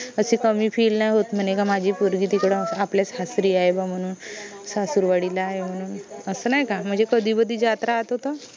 कमी feel नये होत म्हने का माझी पोरगी तिकडं आपल्या सासरी आहे बा म्हनून सासुरवाडीला आहे म्हनून असं नाई का म्हनजे कधी कधी जात राहातो तर